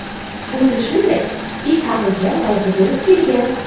O‘zi shunday ish haqiga rozi bo‘lib kelgan.